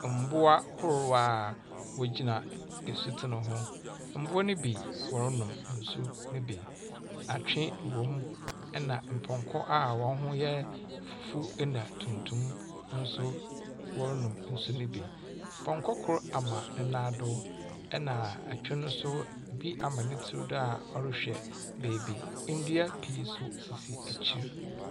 Mboa ahorow a wogyina nsutsen ho. Mboa no bi wɔronom nsu no bi. Atwe wɔ mu, na mpɔnkɔ a hɔn ho yɛ fufuw na tuntum nso wɔronom nsu no bi. Pɔnkɔ kor ama ne nan do, na atwe no nso bi ama ne tsir do a ɔrehwɛ beebi. Ndua pii nso sisi ekyir.